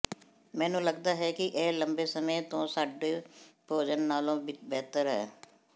ਮੈਨੂੰ ਲਗਦਾ ਹੈ ਕਿ ਇਹ ਲੰਬੇ ਸਮੇਂ ਤੋਂ ਸਾਡੇ ਭੋਜਨ ਨਾਲੋਂ ਬਿਹਤਰ ਹੈ